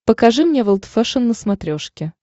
покажи мне волд фэшен на смотрешке